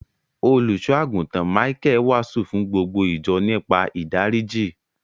Òlúsọ̀agùntán Míchael wáásù fún gbogbo ìjọ̀ nípa ìdáriji.